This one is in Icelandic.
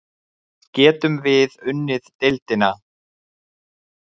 Getum við unnið deildina?